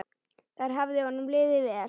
Þar hafði honum liðið vel.